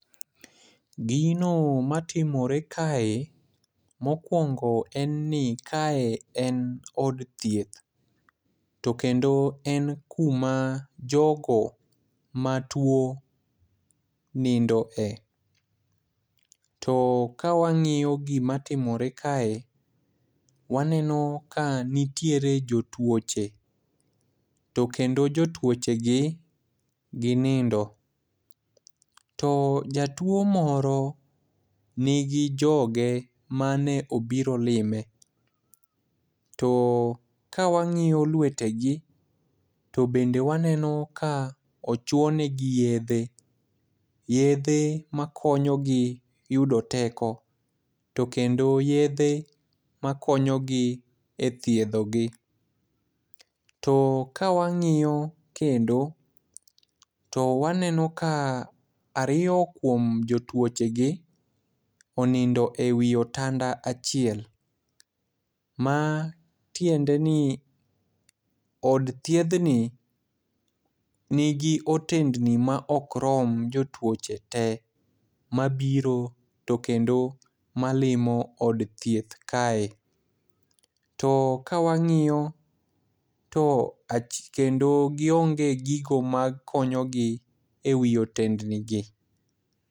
Gino matimore kae ,mokwongo en ni kae en od thieth, to kendo en kuma jogo matuwo nindoe. To kawang'iyo gimatimore kae, waneno ka nitiere jotuoche ,to kendo jotuochegi ginindo, to jatuwo moro nigi joge mane obiro lime, to kawang'iyo lwetegi, to bende waneno ka ochuo negi yedhe, yedhe makonyogi yudo teko, to kendo yedhe makonyogi e thiedho gi. To kawangiyo kendo, to waneno ka ariyo kuom jotuochegi, onindo e wi otanda achiel, matiende ni od thiedhni nigi otendni ma ok rom jotuoche te mabiro to kendo malimo od thieth kae, to kawang'iyo to kendo gionge gigo makonyogi e wi otendnigi.